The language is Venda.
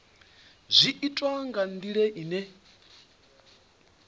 zwi itwa nga ndila ine